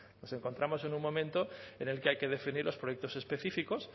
nos encontramos en un momento en el que hay que definir los proyectos específicos